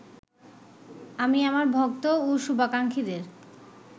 আমি আমার ভক্ত ও সুভাকাঙ্খীদের